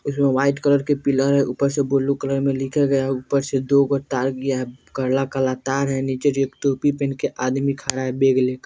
इसमें white colour के pillar है ऊपर से बुलु कलर में लिखे गये है ऊपर से दो गो तार गिया है काला-काला तार है नीचे जो टोपी पहन के आदमी खड़ा हे बैग लेकर।